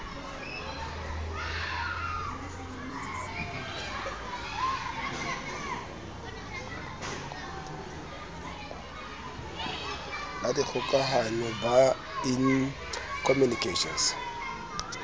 la dikgokahano ba in communications